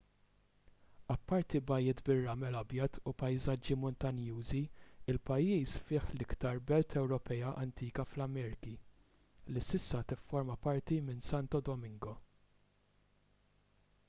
apparti bajjiet bir-ramel abjad u pajsaġġi muntanjużi il-pajjiż fih l-iktar belt ewropea antika fl-amerki li issa tifforma parti minn santo domingo